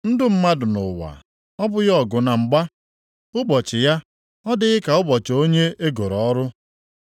“Ndụ mmadụ nʼụwa ọ bụghị ọgụ na mgba? Ụbọchị ya ọ dịghị ka ụbọchị onye e goro ọrụ?